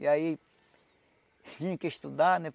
E aí tinham que estudar, né?